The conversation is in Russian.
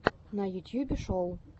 на ютьюбе шоу